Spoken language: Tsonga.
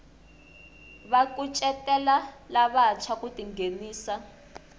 va kucetela lavantshwa ku tinghenisa